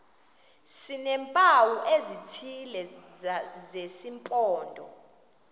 sineempawu ezithile zesimpondo